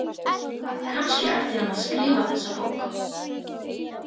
Kannski ætti hann að skrifa þessa bók.